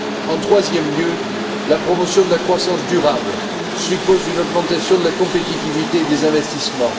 En troisième lieu, la promotion de la croissance durable suppose une augmentation de la compétitivité des investissements.